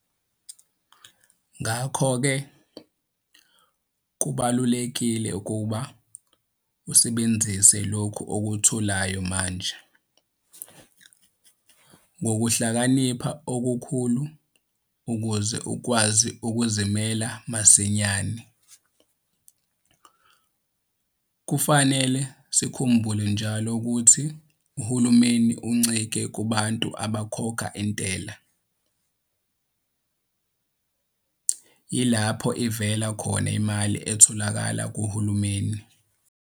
Ngakho ke, kubalulekile ukuba usebenzise lokho okutholayo manje ngokuhlakanipha okukhulu ukuze ukwazi ukuzimela masinyane. Kufanele sikhumbule njalo ukuthi uhulumeni uncike kubantu abakhokha intela - yilapho ivela khona imali etholakala kuhulumeni.